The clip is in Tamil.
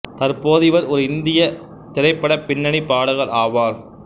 தற்போது இவர் ஒரு இந்தியத் திரைப்படப் பின்னணிப் பாடகர் ஆவார்